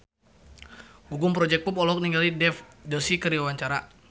Gugum Project Pop olohok ningali Dev Joshi keur diwawancara